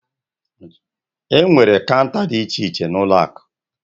Enwere Kaunta dị iche iche na ụlọ akụ.